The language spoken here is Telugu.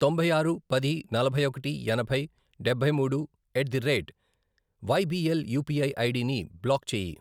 తొంభై ఆరు, పది, నలభై ఒకటి, ఎనభై, డబ్బై మూడు at the rate YBL UPI ID ని బ్లాక్ చేయి.